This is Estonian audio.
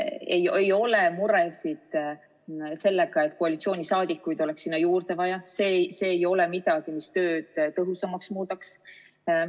Ei ole muresid sellega, et koalitsiooniliikmeid oleks sinna juurde vaja, see ei ole midagi, mis tööd tõhusamaks muudaks.